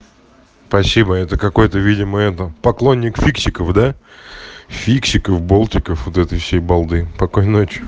спасибо это какой-то видимо это поклонник фиксиков да фиксиков болтиков вот этой всей балды спокойной ночи